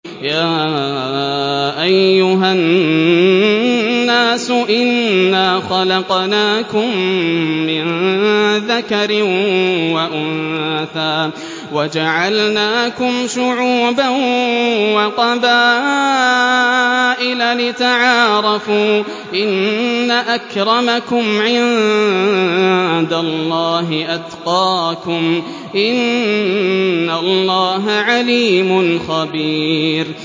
يَا أَيُّهَا النَّاسُ إِنَّا خَلَقْنَاكُم مِّن ذَكَرٍ وَأُنثَىٰ وَجَعَلْنَاكُمْ شُعُوبًا وَقَبَائِلَ لِتَعَارَفُوا ۚ إِنَّ أَكْرَمَكُمْ عِندَ اللَّهِ أَتْقَاكُمْ ۚ إِنَّ اللَّهَ عَلِيمٌ خَبِيرٌ